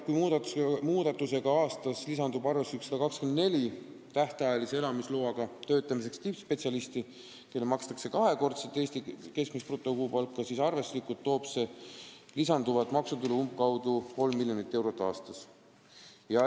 Kui muudatuse tõttu lisandub aastas arvestuslikult 124 tähtajalise elamisloaga tippspetsialisti, kellele makstakse kahekordset Eesti keskmist brutokuupalka, siis toob see lisanduvat maksutulu umbkaudu 3 miljonit eurot aastas.